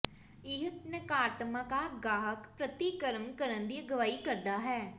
ਇਹ ਨਕਾਰਾਤਮਕ ਗਾਹਕ ਪ੍ਰਤੀਕਰਮ ਕਰਨ ਦੀ ਅਗਵਾਈ ਕਰਦਾ ਹੈ